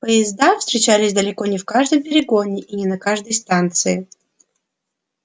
поезда встречались далеко не в каждом перегоне и не на каждой станции